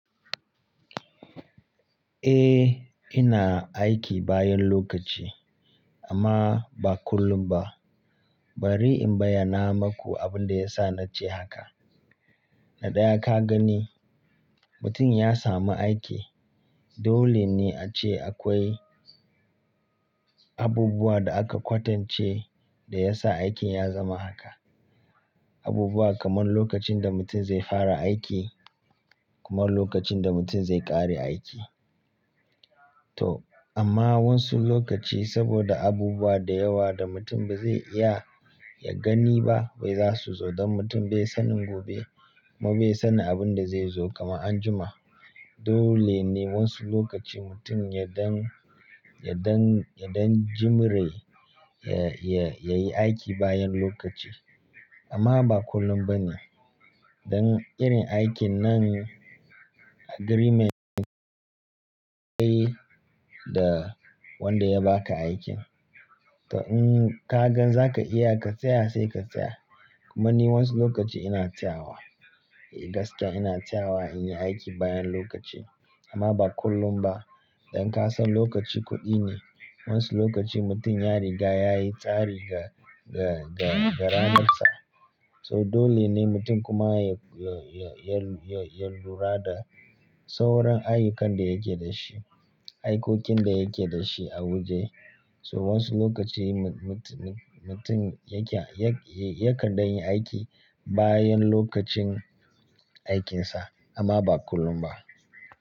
Eh, ina aiki bayan lokaci amma ba kullum ba. Bari in bayyana maku abin da ya sa na ce haka. Na ɗaya ka gani, mutum ya sami aiki dole ne a ce akwai abubuwa da aka kwatance da ya sa aikin ya zama haka. Abubuwa kamar lokacin da mutum zai fara aiki kuma lokacin da mutum zai ƙare aiki. To amma wasu lokaci saboda abubuwa da yawa da mutum ba zai iya ya gani ba wai za su zo don mutum bai sani gobe kuma bai sani abin da zai zo kamar anjima. Dole ne wasu lokaci mutum ya dan, ya dan, ya dan jimre ya, ya, ya yi aiki bayan lokaci amma ba kullum ba ne. Don irin aikin nan agreement ne ka yi da wanda ya baka aikin. To in ka gan zaka iya ka tsaya sai ka tsaya. Kuma ni wasu lokaci ina tsayawa. Gaskiya ina tsayawa in yi aiki bayan lokaci amma ba kullum ba. Don ka san lokaci kuɗi ne. Wasu lokaci mutum ya riga ya yi tsari ga, ga, ga, ga ranarsa. So dole ne mutum kuma ya, ya, ya, ya, ya lura da sauran ayyukan da yake da shi, aikokin da yake da shi a waje. So wasu lokaci mu-mutu-mutum yake, yakar dan yin aiki bayan lokacin aikinsa amma ba kullum ba.